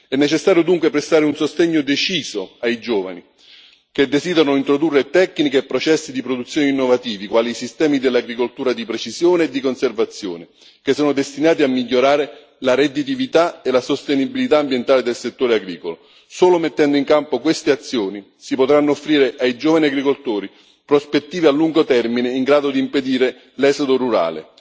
È necessario dunque prestare un sostegno deciso ai giovani che desiderano introdurre tecniche e processi di produzione innovativi, quali i sistemi dell'agricoltura di precisione e di conservazione, che sono destinati a migliorare la redditività e la sostenibilità ambientale del settore agricolo. Solo mettendo in campo queste azioni si potranno offrire ai giovani agricoltori prospettive a lungo termine in grado di impedire l'esodo rurale.